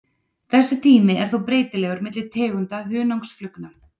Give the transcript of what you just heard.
Þessi tími er þó breytilegur milli tegunda hunangsflugna.